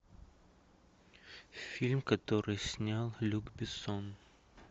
фильм который снял люк бессон